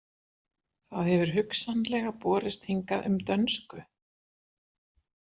Það hefur hugsanlega borist hingað um dönsku.